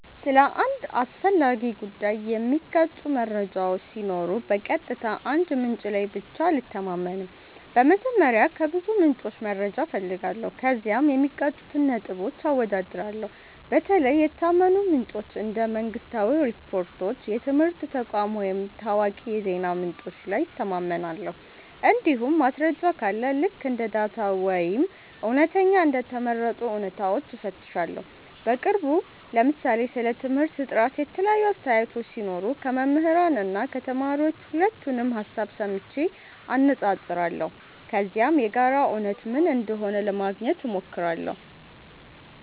ስለ አንድ አስፈላጊ ጉዳይ የሚጋጩ መረጃዎች ሲኖሩ በቀጥታ አንድ ምንጭ ላይ ብቻ አልተማመንም። በመጀመሪያ ከብዙ ምንጮች መረጃ እፈልጋለሁ፣ ከዚያም የሚጋጩትን ነጥቦች አወዳድራለሁ። በተለይ የታመኑ ምንጮች እንደ መንግሥታዊ ሪፖርቶች፣ የትምህርት ተቋማት ወይም ታዋቂ የዜና ምንጮች ላይ እተማመናለሁ። እንዲሁም ማስረጃ ካለ ልክ እንደ ዳታ ወይም እውነተኛ እንደ ተመረጡ እውነታዎች እፈትሻለሁ። በቅርቡ ለምሳሌ ስለ ትምህርት ጥራት የተለያዩ አስተያየቶች ሲኖሩ ከመምህራን እና ከተማሪዎች ሁለቱንም ሀሳብ ሰምቼ አነፃፅራለሁ። ከዚያም የጋራ እውነት ምን እንደሆነ ለማግኘት ሞክራለሁ።